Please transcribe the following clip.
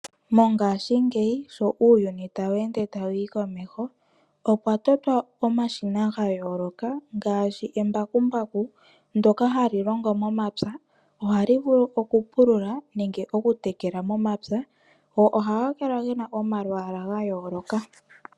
Mongaashingeyi sho uuyuni tawu ende tawu yi komeho, okwa totwa omashina ga yooloka ngaashi embakumbaku ndyoka hali longo momapya. Ohali vulu okupulula nenge okutekela momapya, go ohaga kala ge na omalwaala ga yooloka.